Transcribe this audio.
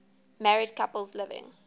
married couples living